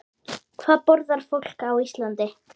Hvað borðar fólk á Íslandi?